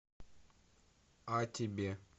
о тебе